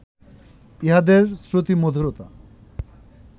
ইহাদের শ্রুতিমধুরতা